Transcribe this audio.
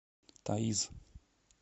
таиз